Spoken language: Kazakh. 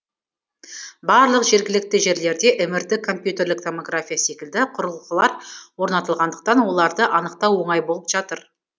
барлық жергілікті жерлерде мрт компьютерлік томография секілді құрылғылар орнатылғандықтан оларды анықтау оңай болып жатыр